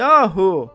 Yahu!